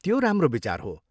त्यो राम्रो विचार हो।